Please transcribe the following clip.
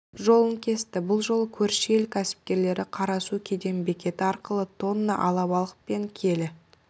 жолын кесті бұл жолы көрші ел кәсіпкерлері қарасу кеден бекеті арқылы тонна алабалық пен келі